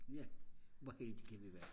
ja hvor heldige kan vi være